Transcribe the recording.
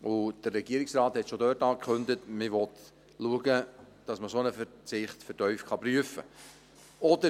Der Regierungsrat kündigte darin bereits an, man wolle dafür sorgen, dass ein solcher Verzicht vertieft geprüft werden kann.